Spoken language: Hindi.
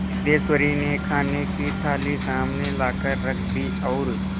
सिद्धेश्वरी ने खाने की थाली सामने लाकर रख दी और